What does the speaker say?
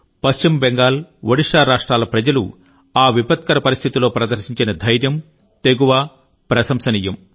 పశ్చిమ బెంగాల్ ఒడిషా రాష్ట్రాల ప్రజలు ఆ విపత్కర పరిస్థితిలో ప్రదర్శించిన ధైర్యం తెగువ ప్రశంసనీయం